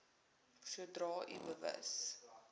sodra u bewus